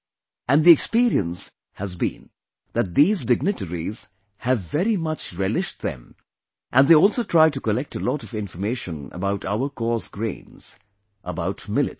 And the experience has been that these dignitaries have very much relished them and they also try to collect a lot of information about our coarse grains, about Millets